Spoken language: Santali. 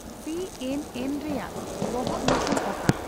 ᱥᱤᱹ ᱮᱱᱹ ᱮᱱᱹ ᱨᱮᱭᱟᱜ ᱵᱚᱦᱚᱜᱧᱩᱛᱩᱢ ᱚᱠᱟ